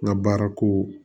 N ka baara ko